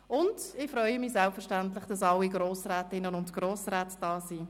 Selbstverständlich freue ich mich auch, dass alle Grossrätinnen und Grossräte da sind.